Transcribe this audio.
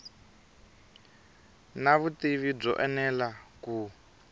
na vutivi byo enela ku